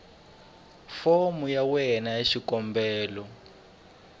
fomo ya wena ya xikombelo